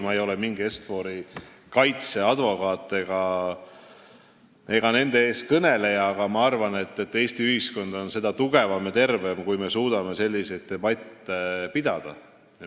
Ma ei ole mingi Est-Fori kaitseadvokaat ega nende eestkõneleja, aga ma arvan, et Eesti ühiskond on tugevam ja tervem, kui me suudame selliseid debatte pidada.